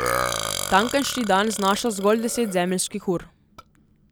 Tamkajšnji dan znaša zgolj deset zemeljskih ur.